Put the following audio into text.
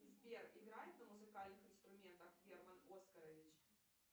сбер играет на музыкальных инструментах герман оскарович